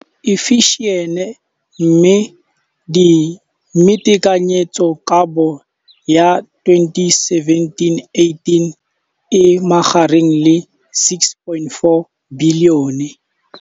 infleišene, mme tekanyetsokabo ya 2017,18 e magareng ga R6.4 bilione.